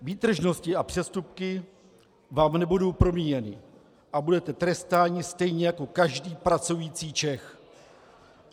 Výtržnosti a přestupky vám nebudou promíjeny a budete trestáni stejně jako každý pracující Čech.